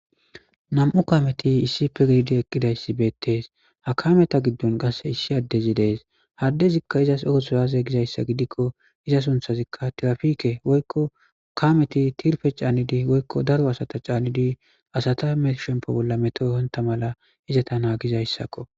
Nam7u kaameti issipe gididi eqqidayssi beettees ha kameta giddon gase issi addezi dees haddezikka izas oothuraaze gizayssa gidikko iza sunthazikka tirafike woykko kaameti tirfe caanidi woykko daro asata caanidi asata meshempo bolla metohonta mala izata naagizayssakko.